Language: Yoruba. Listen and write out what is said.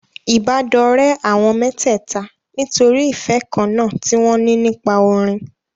Ìbádọ́rẹ̀ẹ́ àwọn mẹ́tẹ̀ẹ̀ta nítorí ìfẹ́ kan náà tí wọn ní nípa orin.